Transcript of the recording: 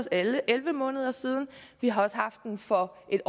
elleve elleve måneder siden og vi har også haft den for en